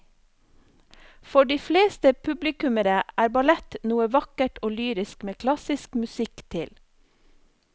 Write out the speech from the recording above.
For de fleste publikummere er ballett noe vakkert og lyrisk med klassisk musikk til.